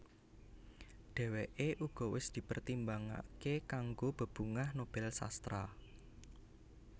Dhèwèké uga wis dipertimbangaké kanggo Bebungah Nobel Sastra